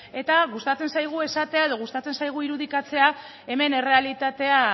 eta gustatzen zaigu esatea edo gustatzen zaigu irudikatzea hemen errealitatea